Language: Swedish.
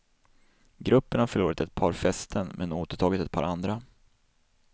Gruppen har förlorat ett par fästen, men återtagit ett par andra.